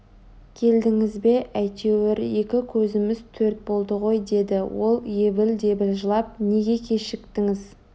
келдіңіз бе әйтеуір екі көзіміз төрт болды ғой деді ол ебіл-дебіл жылап неге кешіктіңіз